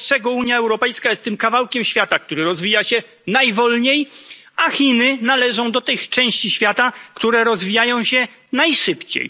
Wobec czego Unia Europejska jest tym kawałkiem świata, który rozwija się najwolniej, a Chiny należą do tych części świata, które rozwijają się najszybciej.